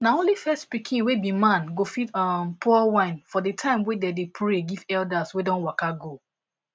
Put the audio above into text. na only first pikin wey be man go fit um pour wine for the time wey dem dey pray give elders wey don waka go